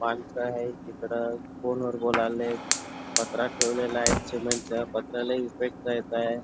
माणस आहेत तिकडे फोन वर बोलायलेत पत्रा ठेवलेला आहे सीमेंटच पत्रा लई आहे.